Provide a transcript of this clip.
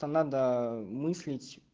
там надо мыслить